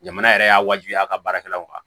Jamana yɛrɛ y'a wajibiya a ka baarakɛlaw kan